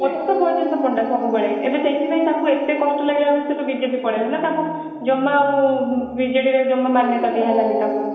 ମତେ ତ ବୈଜନ୍ତ ପଣ୍ଡା ସବୁ ବେଲେ ଏବେ ତ ଏଥିପାଇଁ ତାଙ୍କୁ ଏତେ କଷ୍ଟ ଲାଗିଲା ବୋଲି ସେ ବିଜେପି ପଳେଇଲେ ନା ତାଙ୍କୁ ଜମା ଆଉ ବିଜେଡି ରେ ଜମା ମାନ୍ୟତା ଦିଆହେଲାଣି ତାଙ୍କୁ